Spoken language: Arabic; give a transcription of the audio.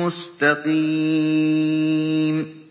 مُّسْتَقِيمٌ